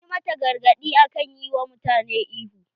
An yi mata gargadi akan yi wa mutane ihu.